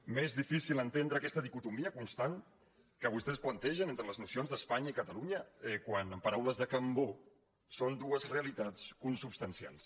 m’és difícil entendre aquesta dicotomia constant que vostès plantegen entre les nocions d’espanya i catalunya quan en paraules de cambó són dues realitats consubstancials